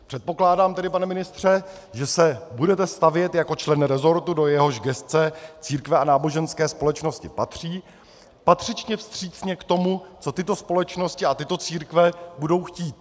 Předpokládám tedy, pane ministře, že se budete stavět jako člen resortu, do jehož gesce církve a náboženské společnosti patří, patřičně vstřícně k tomu, co tyto společnosti a tyto církve budou chtít.